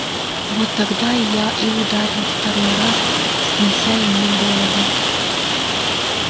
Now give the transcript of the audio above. вот тогда я и ударил второй раз снося ему голову